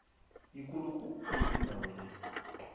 yikulu khulu indawo le